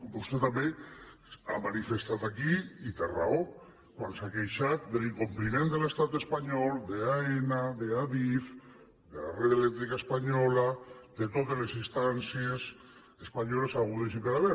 vostè també ho ha manifestat aquí i té raó quan s’ha queixat de l’incompliment de l’estat espanyol d’aena d’adif de red eléctrica española de totes les instàncies espanyoles hagudes i per haver